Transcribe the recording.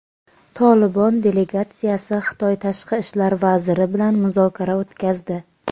"Tolibon" delegatsiyasi Xitoy tashqi ishlar vaziri bilan muzokara o‘tkazdi.